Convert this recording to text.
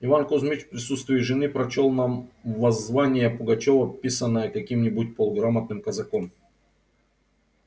иван кузмич в присутствии жены прочёл нам воззвание пугачёва писанное каким-нибудь полуграмотным казаком